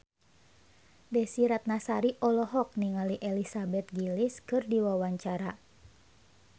Desy Ratnasari olohok ningali Elizabeth Gillies keur diwawancara